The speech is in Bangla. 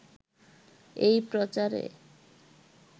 “এই প্রচারে